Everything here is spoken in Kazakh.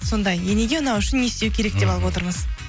сондай енеге ұнау үшін не істеу керек деп алып отырмыз